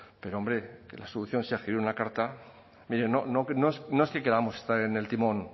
pero hombre que la solución sea escribir una carta mire no es que queramos estar en el timón